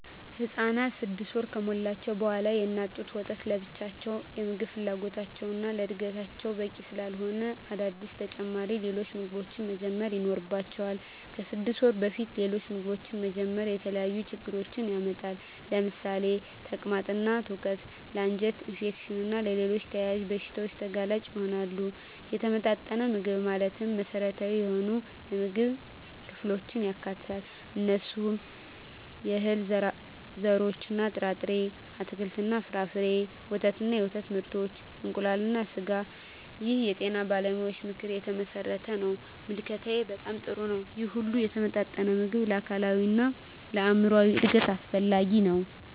ህፃናት 6 ወር ከሞላቸው በዋላ የእናት ጡት ወተት ለብቻው የምግብ ፍላጎታቸውን እና ለዕድገታቸው በቂ ስላለሆነ አዳዲስ ተጨማሪ ሌሎች ምግቦችን መጀመር ይኖርባቸዋል። ከ6 ወር በፊት ሌሎች ምግቦችን መጀመር የተለያዩ ችግሮችን ያመጣል ለምሳሌ ተቅማጥ እና ትውከት ለ አንጀት ኢንፌክሽን እና ሌሎች ተያያዝ በሺታዎች ተጋላጭ ይሆናሉ። የተመጣጠነ ምግብ ማለት መሰረታዊ የሆኑ የምግብ ክፍሎችን ያካትታል። እነሱም፦ የእህል ዘርሮች እና ጥርጣሬ፣ አትክልት እና ፍራፍሬ፣ ወተት እና የወተት ምርቶች፣ እንቁላል እና ስጋ ይህ የጤና ባለሙያዎች ምክር የተመሠረተ ነው። ምልከታዬ በጣም ጥሩ ነው ይህ ሁሉ የተመጣጠነ ምግብ ለአካላዊ እና ለአይምራዊ እድገት አስፈላጊ ነው።